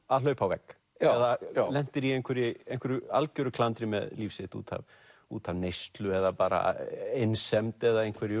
að hlaupa á vegg eða lentir í einhverju einhverju algjöru klandri með líf sitt út af út af neyslu eða bara einsemd eða einhverju